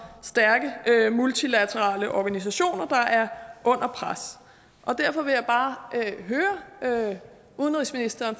stærke multilaterale organisationer der er under pres derfor vil jeg bare høre udenrigsministeren